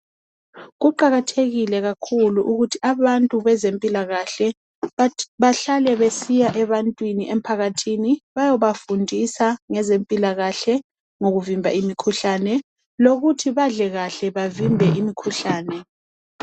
Kuqakathekile kakhulu ukuthi abantu bezempilakahle bahlale besiya ebantwini emphakathini bayobafundisa ngezempilakahle ngokuvimba imikhuhlane lokuthi badle kahle bavimbe imikhuhlane